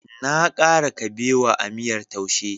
Na kara kabewa a miyar Taushe..